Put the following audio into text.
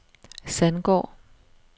Sandgård